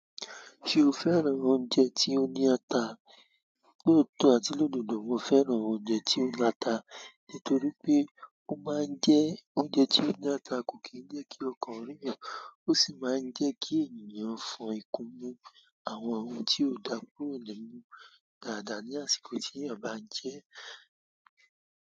Ṣé o fẹ́ran oúnjẹ tí ó ní ata? Lóòtọ́ àti lóòdodo mo fẹ́ran oúnjẹ tí ó ní ata, nítorí pé ó máa ń jẹ́ oúnjẹ tí ó ní ata kò kí ń jẹ́ kí ọkàn rín'yan, ó sì máa ń jẹ́ kí ènìyàn fọn ikunmu àwọn ohun tí ó dà kúrò ni imu dáadáa ní àsìkò tí eyan bá ń jẹ ẹ́.